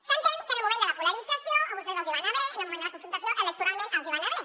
s’entén que en el moment de la polarització a vostès els va anar bé en el moment de la confrontació electoralment els va anar bé